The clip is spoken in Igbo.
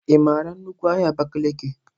Ị mara nnukwu ahia Abakiliki?